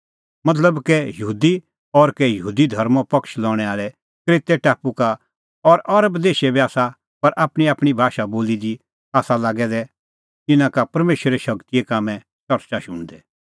मतलब कै यहूदी और कै यहूदी धर्मों पक्ष लणै आल़ै क्रेतै टापू का और अरब देशे बी आसा पर आपणींआपणीं भाषा बोली दी आसा लागै दै इना का परमेशरे शगतीए कामें च़रच़ा शुणदै